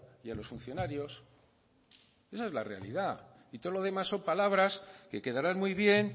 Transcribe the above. y a los funcionarios esa es la realidad y todo lo demás son palabras que quedarán muy bien